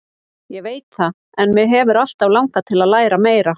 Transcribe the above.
Ég veit það en mig hefur alltaf langað til að læra meira.